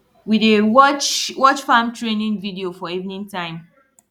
we dey watch watch farm training video for evening time